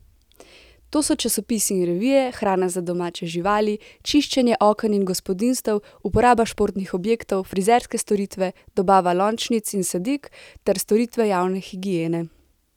To so časopisi in revije, hrana za domače živali, čiščenje oken in gospodinjstev, uporaba športnih objektov, frizerske storitve, dobava lončnic in sadik ter storitve javne higiene.